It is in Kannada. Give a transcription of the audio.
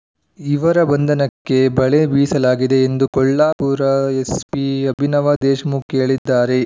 ಇವರ ಬಂಧನಕ್ಕೆ ಬಲೆ ಬೀಸಲಾಗಿದೆ ಎಂದು ಕೊಲ್ಹಾಪುರ ಎಸ್ಪಿ ಅಭಿನವ ದೇಶ್ಮುಖ್ ಹೇಳಿದ್ದಾರೆ